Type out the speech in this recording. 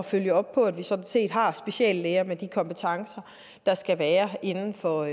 følge op på at vi sådan set har speciallæger med de kompetencer der skal være inden for